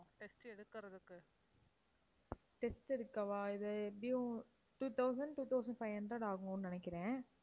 test எடுக்கவா? இது எப்படியும் two thousand, two thousand five hundred ஆகும்ன்னு நினைக்கிறேன்.